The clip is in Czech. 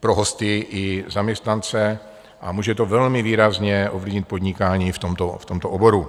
pro hosty i zaměstnance a může to velmi výrazně ovlivnit podnikání v tomto oboru.